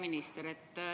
Minister!